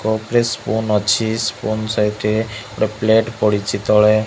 Cup ରେ spoon ଅଛି spoon ସାଇଡି ରେ ଗୋଟେ ପ୍ଲେଟ ପଡ଼ିଛି ତଳେ।